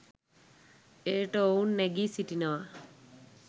එයට ඔවුන් නැඟී සිටිනවා.